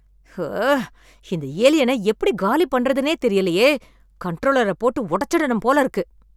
ஹஅ ! இந்த ஏலியன எப்படிக் காலி பண்ணுறதுன்னே தெரியலையே! கன்ட்ரோலரப் போட்டு உடச்சரனும் போல இருக்கு!